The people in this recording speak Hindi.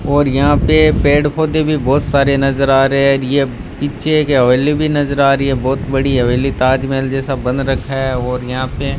और यहां पे पेड़-पौधे भी बहुत सारे नजर आ रहे हैं ये पीछे एक हवेली भी नजर आ रही है बहुत बड़ी हवेली ताजमहल जैसा बन रखा है और यहां पे --